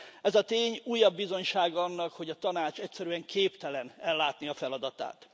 Ez a tény újabb bizonysága annak, hogy a Tanács egyszerűen képtelen ellátni a feladatát.